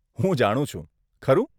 હું જાણું છું, ખરું?